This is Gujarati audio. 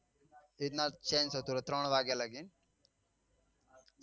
એવી રીત નાં change થતો રહે ત્રણ વાગે લાગે